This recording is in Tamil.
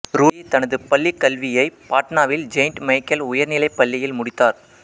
ரூடி தனது பள்ளி கல்வியை பாட்னாவின் செயின்ட் மைக்கேல் உயர்நிலைப் பள்ளியில் முடித்தார்